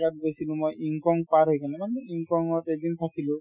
ঘাট গৈছিলো মই পাৰ হৈ কিনে মানে ত এদিন থাকিলো